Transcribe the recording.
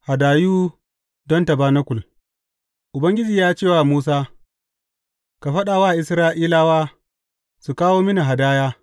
Hadayu don tabanakul Ubangiji ya ce wa Musa, Ka faɗa wa Isra’ilawa su kawo mini hadaya.